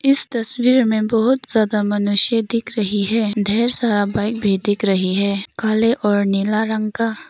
इस तस्वीर में बहुत जादा मनुष्य दिख रही है और ढेर सारा बाइक दिख रही है काले और नीले रंग का।